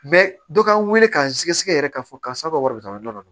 dɔ k'an wele k'an sɛgɛsɛgɛ yɛrɛ k'a fɔ karisa ka wari jɔyɔrɔ don